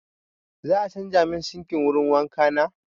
Za a canza min sinkin wurin wanka na.